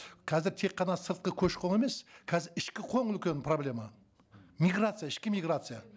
қазір тек қана сыртқы көші қон емес қазір ішкі қон үлкен проблема миграция ішкі миграция